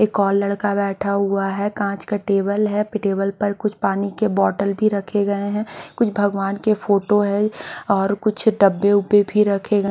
एक और लड़का बैठा हुआ है कांच का टेबल है फिर टेबल पर कुछ पानी के बोटल भी रखे गए है कुछ भगवान के फोटो है और कुछ डब्बे उब्बे भी रखे गए--